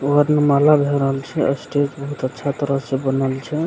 वर्णमाला भाय रहल छै स्टेज बहुत अच्छा तरह से बनल छै।